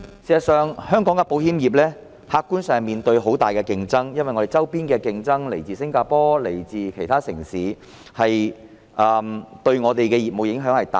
事實上，香港的保險業客觀上面對很大的競爭，我們周邊的競爭來自新加坡和其他城市，對我們的業務影響頗大。